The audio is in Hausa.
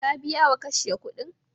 Ka biya wa kashya kuɗin?